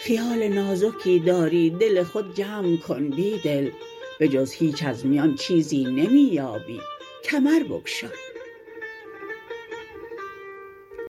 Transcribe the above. خیال نازکی داری دل خود جمع کن بیدل به جز هیچ از میان چیزی نمی یابی کمر بگشا